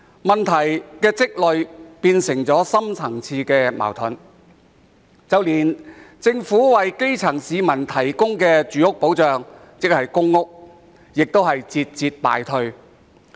問題日積月累，最終變成深層次矛盾，連政府為基層市民提供的住屋保障，即公屋，也節節敗退。